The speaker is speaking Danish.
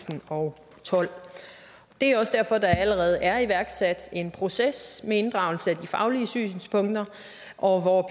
og tolv det er også derfor der allerede er iværksat en proces med inddragelse af de faglige synspunkter og